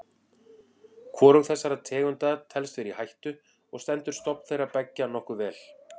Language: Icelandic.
Hvorug þessara tegunda telst vera í hættu og stendur stofn þeirra beggja nokkuð vel.